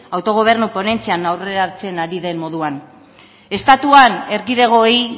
autogobernu ponentzian aurreratzen ari den moduan estatuan erkidegoei